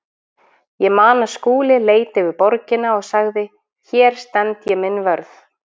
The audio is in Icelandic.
Ég man að Skúli leit yfir borgina og sagði: Hér stend ég minn vörð.